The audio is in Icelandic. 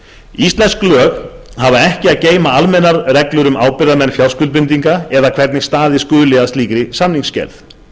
íslensk lög hafa ekki að geyma almennar reglur um ábyrgðarmenn fjárskuldbindinga eða hvernig staðið skuli að slíkri samningsgerð